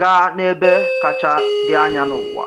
gaa n’ebe kacha dị anya n’ụwa.